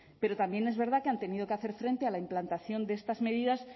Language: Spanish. pero también es verdad que han tenido que hacer frente a la implantación de estas medidas